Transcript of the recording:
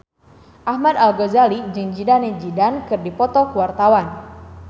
Ahmad Al-Ghazali jeung Zidane Zidane keur dipoto ku wartawan